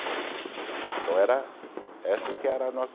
Então era essa que era a nossa